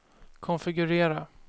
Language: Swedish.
konfigurera